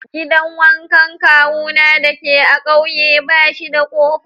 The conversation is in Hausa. Gidan wankan kawuna dake a'ƙauye bashi da kofa.